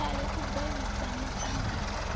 tswayo u ḓo vhidza muṱangano